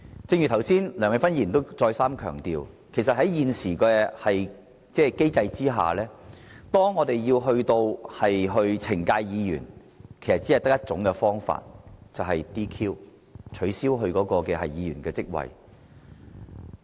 正如剛才梁美芬議員再三強調，在現行機制下，當我們要懲戒議員，其實只有 "DQ" 這種方法，取消該議員的席位。